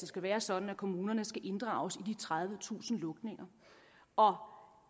skal være sådan at kommunerne skal inddrages i de tredivetusind lukninger og